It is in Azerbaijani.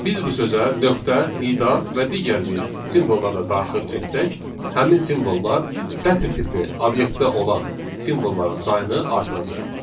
Biz bu sözə nöqtə, nida və digər bir simvolları da daxil etsək, həmin simvollar sətr tipli obyektdə olan simvolların sayını artıracaq.